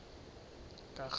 karhulumente